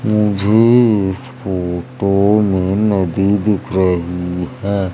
मुझे इस फोटो मे नदी दिख रही है।